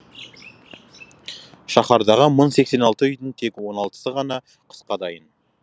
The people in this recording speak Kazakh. шаһардағы мың сексен алты үйдің тек он алтысы ғана қысқа дайын